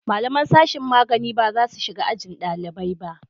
Malaman sashin magani ba za su shiga ajin dalibai ba